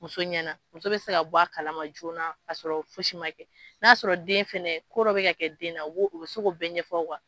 Muso ɲɛna muso bɛ se ka bɔ a kalaman joona ka sɔrɔ fosi ma kɛ, n'a'a sɔrɔ den fɛnɛ ko dɔ bɛ ka kɛ den na u bɛ se ko bɛɛ ɲɛfɔw